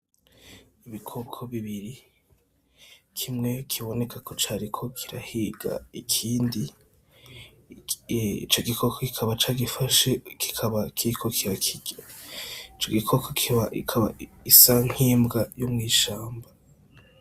Ibikoko bibiri , kimwe kiboneka ko kiriko kirahiga ikindi ico gikoko kikaba cagifashe kiriko kirakirya . Ico gikoko kikaba gisa nk'imbwa yo mw'ishamba.